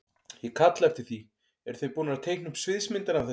Ég kalla eftir því, eru þeir búnir að teikna upp sviðsmyndina af þessu?